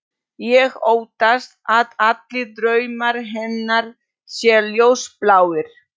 Ég óttast að allir draumar hennar séu ljósbláir.